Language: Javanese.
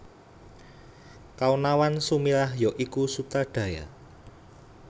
Kaonawan Sumirah ya iku Sutradara